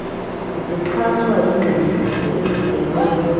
zixhaswa yingxelo efungelweyo